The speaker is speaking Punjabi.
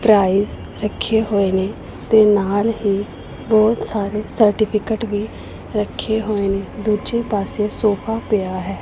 ਪ੍ਰਾਈਜ ਰੱਖੇ ਹੋਏ ਨੇ ਤੇ ਨਾਲ ਹੀ ਬਹੁਤ ਸਾਰੇ ਸਰਟੀਫਿਕੇਟ ਵੀ ਰੱਖੇ ਹੋਏ ਨੇ ਦੂਜੇ ਪਾਸੇ ਸੋਫਾ ਪਿਆ ਹੈ।